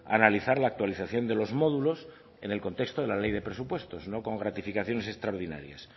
a analizar la actualización de los módulos en el contexto de la ley de presupuestos no con gratificaciones extraordinarias